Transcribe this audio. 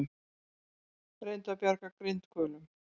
Reyna að bjarga grindhvölum